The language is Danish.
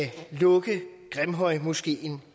lukke grimhøjmoskeen